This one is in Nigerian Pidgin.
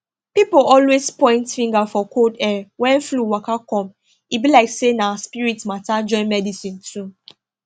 pipo always point finger for cold air when flu waka come e be like say na spirit matter join medicine too